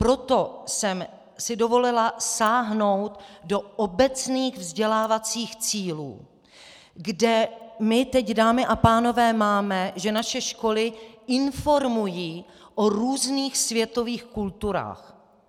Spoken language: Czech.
Proto jsem si dovolila sáhnout do obecných vzdělávacích cílů, kde my teď, dámy a pánové, máme, že naše školy informují o různých světových kulturách.